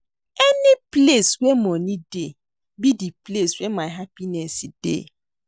Any place where money dey be the place where my happiness dey